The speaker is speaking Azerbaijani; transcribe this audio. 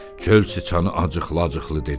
Çöl siçanı acıqla-acıqlı dedi.